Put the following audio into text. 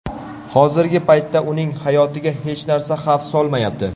Hozirgi paytda uning hayotiga hech narsa xavf solmayapti.